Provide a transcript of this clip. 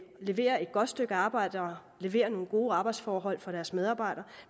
leverer et godt stykke arbejde og leverer nogle gode arbejdsforhold for deres medarbejdere